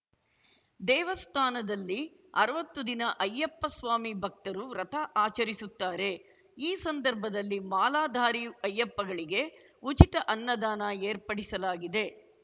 ದೇವಸ್ಥಾನದಲ್ಲಿ ಅರ್ವತ್ತು ದಿನ ಅಯ್ಯಪ್ಪ ಸ್ವಾಮಿ ಭಕ್ತರು ವ್ರತ ಆಚರಿಸುತ್ತಾರೆ ಈ ಸಂದರ್ಭದಲ್ಲಿ ಮಾಲಾಧಾರಿ ಅಯ್ಯಪ್ಪಗಳಿಗೆ ಉಚಿತ ಅನ್ನದಾನ ಏರ್ಪಡಿಸಲಾಗಿದೆ